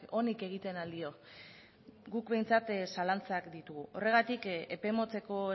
onik egiten al dio guk behintzat zalantzak ditugu horregatik epe motzeko